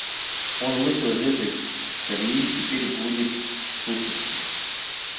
он вышел из этой колеи и теперь будет слушаться